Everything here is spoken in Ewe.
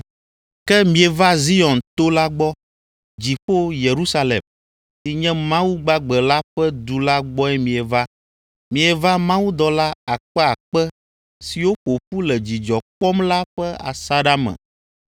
Ke mieva Zion to la gbɔ, dziƒo Yerusalem, si nye Mawu gbagbe la ƒe du la gbɔe mieva. Mieva mawudɔla akpeakpe siwo ƒo ƒu le dzidzɔ kpɔm la ƒe asaɖa me.